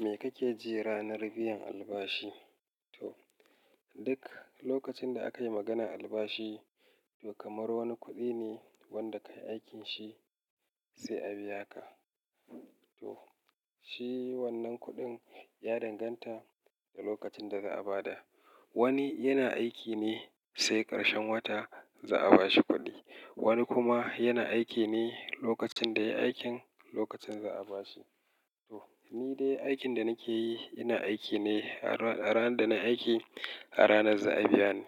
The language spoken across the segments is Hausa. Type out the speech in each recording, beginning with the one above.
Me kake ji ranar biyan albashi? Toh duk lokacin da akayi maganar albashi to kamar wani kuɗi ne wanda kayi aikin shi sai a biya ka. Toh shi wannan kuɗin ya danganta da lokacin da za'a ba da. Wani yana aiki ne sai ƙarshen wata za'a bashi kuɗi. Wani kuma yana aiki ne lokacin da yayi aikin, lokacin za'a bashi. Toh ni dai aikin da nake yi, ina aiki ne a ranar da nayi aiki a ranar za'a biya ni.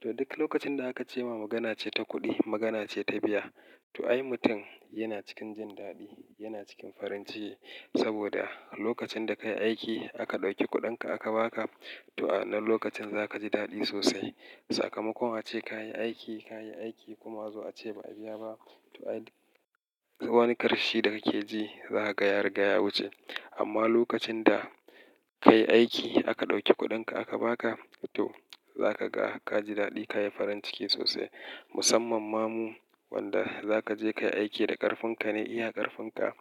Toh duk lokacin da aka ce ma magana ce ta kuɗi, magana ce ta biya. Toh ai mutum yana cikin jin daɗi, yana cikin farin ciki saboda lokacin da kayi aiki aka ɗauki kuɗin ka aka ba ka toh a wannan lokacin za ka ji daɗi sosai. Sakamakon ace kayi aiki, kayi aiki kuma zo a ce ba a biya ba. Toh ai duk wani ƙarfi da kake ji za ka ga ya riga ya wuce. Amma lokacin da kayi aiki aka ɗauki kuɗin ka aka ba ka toh zaka ga ka ji daɗi, kayi farin ciki sosai. Musamman ma mu wanda za ka je ka yi aiki da ƙarfin ka ne, iya ƙarfin ka.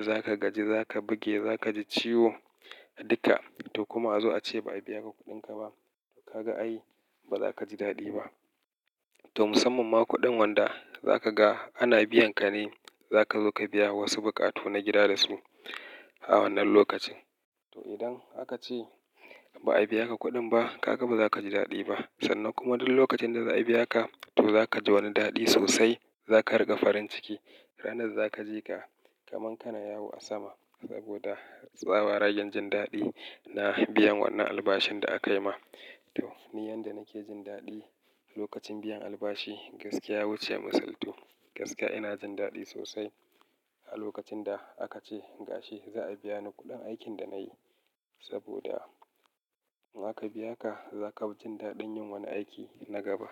Za ka gaji, za ka buge, za ka ji ciwo dukka toh kuma a zo a ce ba a biya ka kuɗin ka ba. Ka ga ai ba za ka ji daɗi ba. To musamman ma kuɗin wanda za ka ga ana biyan ka ne, za ka zo ka biya wasu buƙatu na gida da su a wannan lokacin. Toh idan aka ce ba a biya ka kuɗin ba, ka ga ba za ka ji daɗi ba. Sannan kuma duk lokacin da za a biya ka toh za ka ji wani daɗi sosai. Za ka riga farin ciki. Ranar za ka ji ka, kamar kana yawo a sama saboda tsabaragen jin daɗi na biyan wannan albashin da aka yi ma. Toh ni yadda nake jin daɗi a lokacin biyan albashi gaskiya ya wuce misaltu. Gaskiya ina jin daɗi sosai a lokacin da aka ce ga shi za a biya ni kuɗin aikin da na yi saboda aka biya ka, za ka fi jin daɗin yin wani aiki na gaba.